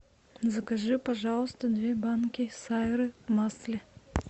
закажи пожалуйста две банки сайры в масле